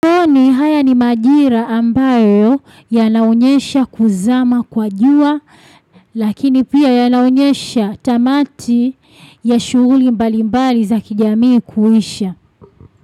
Kwani haya ni majira ambayo yanaonyesha kuzama kwa jua, lakini pia yanaonyesha tamati ya shuguli mbali mbali za kijamii kuisha.